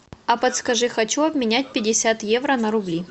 а подскажи хочу обменять пятьдесят евро на рубли